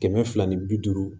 Kɛmɛ fila ni bi duuru